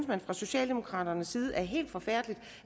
man fra socialdemokraternes side er helt forfærdeligt